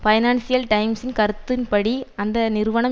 financial டைம்சின் கருத்தின்படி அந்த நிறுவனம்